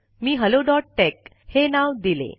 मी hello dot tech हे नाव दिले